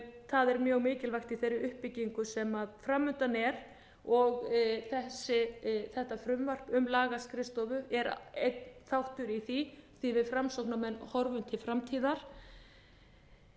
það er mjög mikilvægt í þeirri uppbyggingu sem framundan er og þetta frumvarp um lagaskrifstofu er einn þáttur í því því við framsóknarmenn horfum til framtíðar